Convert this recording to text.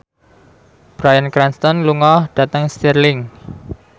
Bryan Cranston lunga dhateng Stirling